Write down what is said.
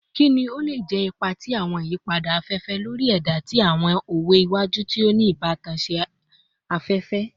Kini o le jẹ ipa ti awọn iyipada afefe lori ẹda ti awọn owe iwaju ti o ni ibatan si afefe / agbegbe?